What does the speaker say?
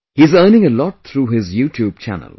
He is earning a lot through his YouTube Channel